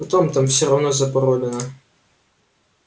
потом там все равно запаролено